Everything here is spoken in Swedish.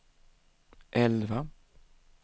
elva